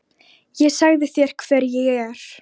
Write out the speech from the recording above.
Ég sagði þér hver ég er.